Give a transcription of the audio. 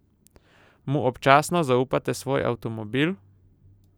Mu občasno zaupate svoj avtomobil?